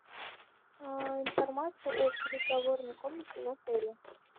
а информация о переговорной комнате в отеле